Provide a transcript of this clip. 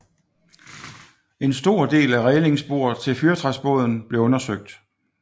En stor del af rælingsbordet til fyrretræsbåden blev undersøgt